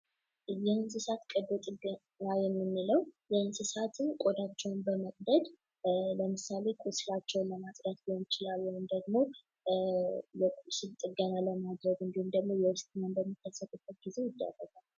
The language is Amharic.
የእንስሳት ቀዶ ጥገና የምንለው የእንስሳትን ቆዳቸውን በመቅደድ ለምሳሌ ቁስላቸውን ለማጽዳት ሊሆን ይችላል ወይም ደግሞ የቁስል ጥገና ለማድረግ ወይም ደግሞ የውስጥ ችግር በሚከሰትበት ጊዜ ይደረጋል።